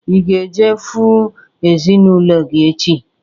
Ị ga-eje fụụ ezinaụlọ gị echi?